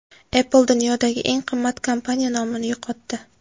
Apple dunyodagi eng qimmat kompaniya nomini yo‘qotdi.